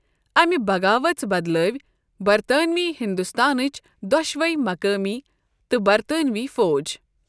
امہِ بغاؤژ بدلٲوۍ برطانوی ہندوستانچ دۅشوے مقٲمی تہٕ برطانوی فوج۔